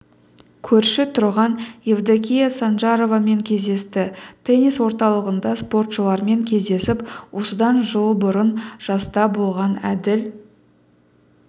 көрші тұрған евдокия санжаровамен кездесті теннис орталығында спортшылармен кездесіп осыдан жыл бұрын жаста болған әділ